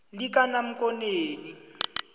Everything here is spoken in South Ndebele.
likanamkoneni